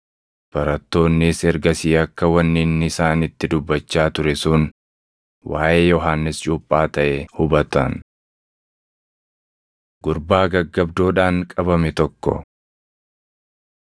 Barattoonnis ergasii akka wanni inni isaanitti dubbachaa ture sun waaʼee Yohannis Cuuphaa taʼe hubatan. Gurbaa Gaggabdoodhaan Qabame Tokko 17:14‑19 kwf – Mar 9:14‑28; Luq 9:37‑42